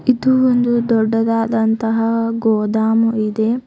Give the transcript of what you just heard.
ಇದು ಒಂದು ದೊಡ್ಡದಾದಂತಹ ಗೋದಮು ಇದೆ.